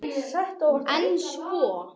En svo?